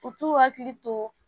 U t'u hakili to